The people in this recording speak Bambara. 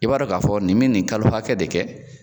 I b'a dɔɔn k'a fɔ nin min nin kalo hakɛ de kɛ